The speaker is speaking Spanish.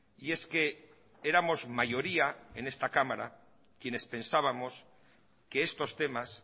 y es que éramos mayoría en esta cámara quienes pensábamos que estos temas